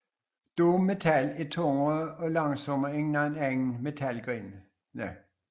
Doom metal er tungere og langsommere end nogen anden metalgenre